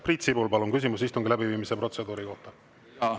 Priit Sibul, palun, küsimus istungi läbiviimise protseduuri kohta!